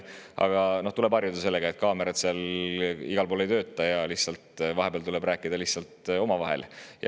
Aga noh, tuleb harjuda sellega, et kaamerad seal igal pool ei tööta ja vahepeal tuleb rääkida lihtsalt omavahel.